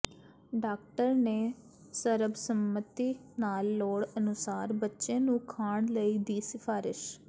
doctor ਨੇ ਸਰਬਸੰਮਤੀ ਨਾਲ ਲੋੜ ਅਨੁਸਾਰ ਬੱਚੇ ਨੂੰ ਖਾਣ ਲਈ ਦੀ ਸਿਫਾਰਸ਼